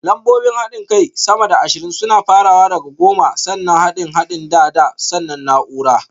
Lambobin haɗin kai sama da ashirin suna farawa da goma, sannan haɗin haɗin da (da), sannan naúrar